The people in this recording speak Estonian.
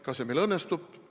Kas see meil õnnestub?